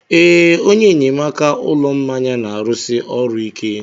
Ee, onye enyemaka ụlọ mmanya na-arụsi ọrụ ike.